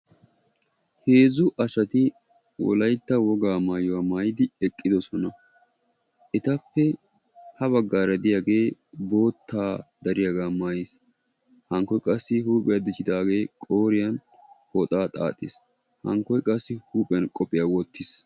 Heezzu asati wolaytta wogaa maayuwa maayidi eqqidosona. Etappe ha baggaara diyagee boottaa dariyaga maayiis. Hankkoy qassi huuphiya dichchidaagee qooriyan pooxaa xaaxiis. Hankkoy qassi huuphiyan qophiya wottiis.